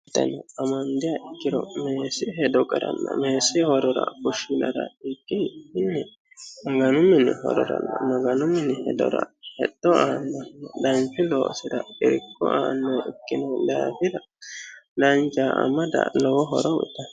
Tenne amandiha ikkiro meessi hedora fushshinara ikki maganu minirano hexxo aannoha ikkino daafira amada danchaho.